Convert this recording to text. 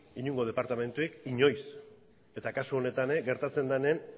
inongo departamenturik inoiz eta kasu honetan ere gertatzen denean